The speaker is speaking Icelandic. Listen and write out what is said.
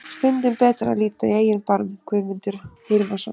Stundum betra að líta í eigin barm. Guðmundur Hilmarsson.